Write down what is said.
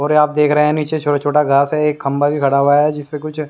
और आप देख रहे हैं नीचे छोटा-छोटा घास है एक खंबा भी खड़ा हुआ है जिसपे कुछ।